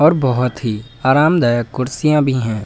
और बहोत ही आरामदायक कुर्सियां भी हैं।